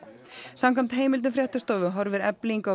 samkvæmt heimildum fréttastofu horfir Efling á